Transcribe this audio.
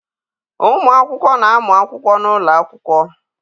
Ụmụakwụkwọ na-amụ akwụkwọ n'ụlọ akwụkwọ.